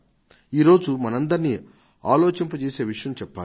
ఈ రోజు మనందరినీ ఆలోచింపజేసే విషయం చెప్పాలి